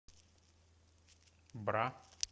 бра